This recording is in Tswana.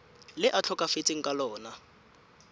le a tlhokafetseng ka lona